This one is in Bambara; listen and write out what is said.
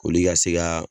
Olu ka se ka